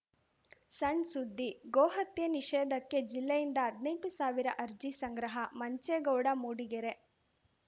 ಸಣ್‌ ಸುದ್ದಿ ಗೋಹತ್ಯೆ ನಿಷೇಧಕ್ಕೆ ಜಿಲ್ಲೆಯಿಂದ ಹದ್ನೆಂಟು ಸಾವಿರ ಅರ್ಜಿ ಸಂಗ್ರಹ ಮಂಚೇಗೌಡ ಮೂಡಿಗೆರೆ